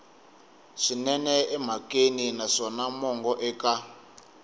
swinene emhakeni naswona mongo eka